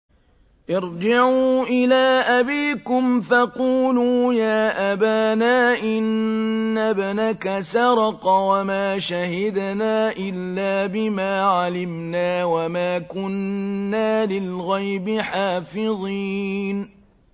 ارْجِعُوا إِلَىٰ أَبِيكُمْ فَقُولُوا يَا أَبَانَا إِنَّ ابْنَكَ سَرَقَ وَمَا شَهِدْنَا إِلَّا بِمَا عَلِمْنَا وَمَا كُنَّا لِلْغَيْبِ حَافِظِينَ